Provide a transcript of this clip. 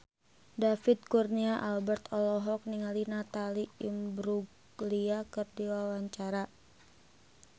David Kurnia Albert olohok ningali Natalie Imbruglia keur diwawancara